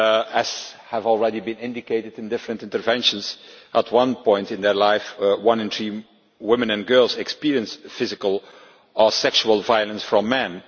As has already been indicated in different interventions, at some point in their life, one in three women and girls experience physical or sexual violence from men.